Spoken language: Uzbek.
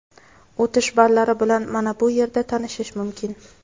o‘tish ballari bilan manabu yerda tanishish mumkin.